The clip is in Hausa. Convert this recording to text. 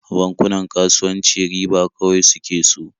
Bankunan kasuwanci riba kawai suke so.